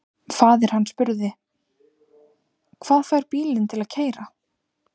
Faðir hann spurði: Hvað fær bílinn til að keyra?